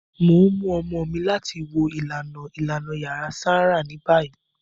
Mo n mu ọmọ mi lati wo ilana ilana yara sanra ni bayi.